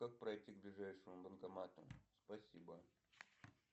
как пройти к ближайшему банкомату спасибо